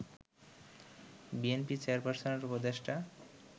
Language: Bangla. বিএনপি চেয়ারপার্সনের উপদেষ্টা